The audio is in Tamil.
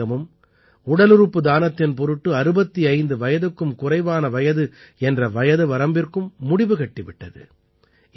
அரசாங்கமும் உடலுறுப்பு தானத்தின் பொருட்டு 65 வயதுக்கும் குறைவான வயது என்ற வயது வரம்பிற்கும் முடிவு கட்டி விட்டது